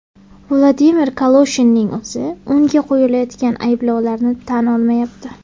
Vladimir Kaloshinning o‘zi unga qo‘yilayotgan ayblovlarni tan olmayapti.